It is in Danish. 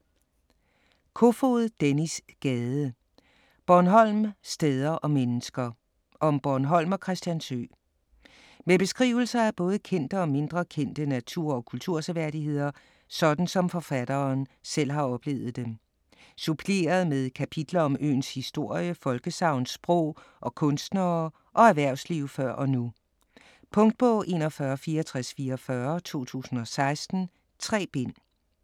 Kofod, Dennis Gade: Bornholm: steder og mennesker Om Bornholm og Christiansø. Med beskrivelser af både kendte og mindre kendte natur- og kulturseværdigheder, sådan som forfatteren selv har oplevet dem. Suppleret med kapitler om øens historie, folkesagn, sprog, og kunstnere og erhvervsliv før og nu. Punktbog 416444 2016. 3 bind.